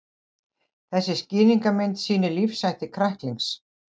Þessi skýringarmynd sýnir lífshætti kræklings.